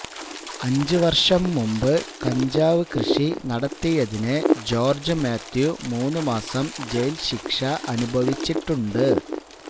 അഞ്ചു വർഷം മുമ്പ് കഞ്ചാവ് കൃഷി നടത്തിയതിന് ജോർജ്ജ് മാത്യു മൂന്ന് മാസം ജയിൽ ശിക്ഷ അനുഭവിച്ചിട്ടുണ്ട്